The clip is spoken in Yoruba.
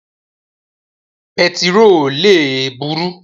Pẹtiró le buru.